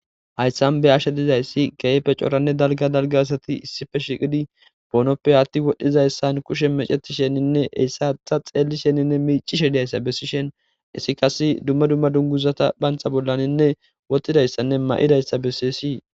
hayssan be ashe dizayssi keehippe coranne dalga dalga asati issippe shiqidi boonoppe hatti wodhdhizayssan kushe meceti sheninne eyssatha xeelli shenninne miicishediayssa bessi shen issi kas dumma dumma dunguzata phantha bollaninne wotidayssanne ma'idayssa bessisii